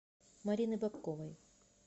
марины бобковой